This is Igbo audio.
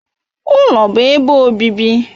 Ụlọ bụ ebe obibi.